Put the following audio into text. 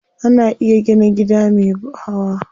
Ana iya gina gida me hawa.